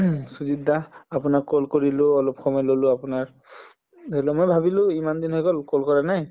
সুজিত দা আপোনাক call কৰিলো অলপ সময় ললো আপোনাৰ উম ধৰিলোৱা মই ভাবিলো ইমানদিন হৈ গল call কৰা নাই